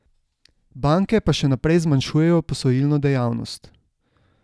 Banke pa še naprej zmanjšujejo posojilno dejavnost.